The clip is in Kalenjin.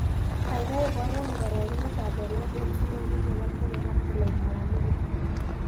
Gagai iborwon karagunetap walet eng' silingit ne po kenya ak tolaitap amerika